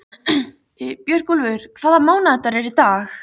Björgúlfur, hvaða mánaðardagur er í dag?